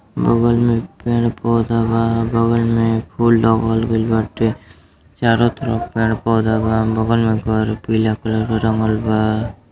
बगल में पेड़ पौधा बा। बगल मे फूल लगल गई बाटे। चारों तरफ पेड़ पौधा बा। बगल मे घर पीला कलर से रंगल बा।